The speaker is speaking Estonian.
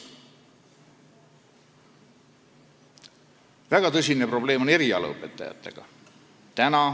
Väga tõsine probleem on erialaõpetajatega.